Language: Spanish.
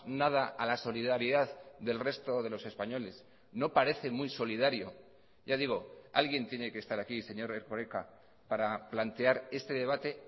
nada a la solidaridad del resto de los españoles no parece muy solidario ya digo alguien tiene que estar aquí señor erkoreka para plantear este debate